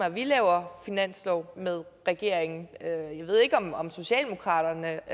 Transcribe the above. at vi laver finanslov med regeringen jeg ved ikke om om socialdemokratiet